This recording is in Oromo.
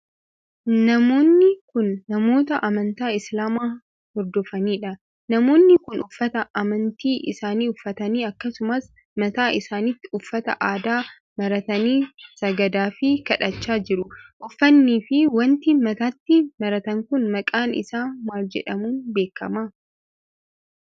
Namoonni kun, namoota amantaa Islaamaa hordofanii dha. Namoonni kun, uffata amantii isaanii uffatanii akkasumas mataa isaanitti uffata aadaa maratanii sagadaa fi kadhachaa jiru. Uffannii fi wanti mataatti maratan kun maqaan isaa maal jedhamuun beekama?